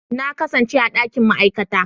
Na kasance a dakin ma'aikata.